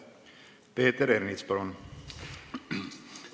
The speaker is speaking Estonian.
Peeter Ernits, palun!